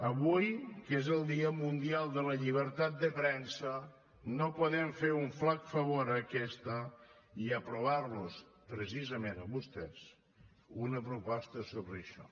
avui que és el dia mundial de la llibertat de premsa no podem fer un flac favor a aquesta i aprovar los precisament a vostès una proposta sobre això